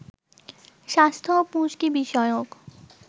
স্বাস্থ্য ও পুষ্টি বিষয়ক